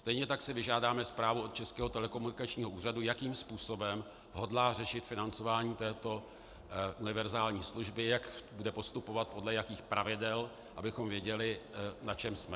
Stejně tak si vyžádáme zprávu od Českého telekomunikačního úřadu, jakým způsobem hodlá řešit financování této univerzální služby, jak bude postupovat, podle jakých pravidel, abychom věděli, na čem jsme.